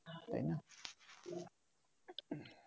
তাই না